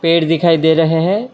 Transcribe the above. पेड़ दिखाई दे रहे हैं।